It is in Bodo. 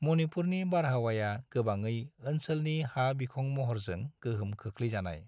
मणिपुरनि बारहावाया गोबाङै ओनसोलनि हा-बिखं महरजों गोहोम खोख्लैजानाय।